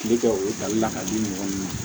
Kile kɛ o tali la k'a di mɔgɔ ma